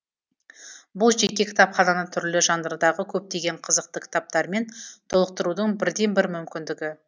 бұл жеке кітапхананы түрлі жанрдағы көптеген қызықты кітаптармен толықтырудың бірден бір мүмкіндігі